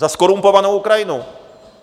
Za zkorumpovanou Ukrajinu!